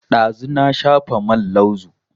Ɗazu na shafa man lauzu